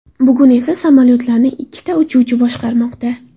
Bugun esa samolayotlarni ikkita uchuvchi boshqarmoqda.